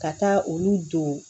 Ka taa olu don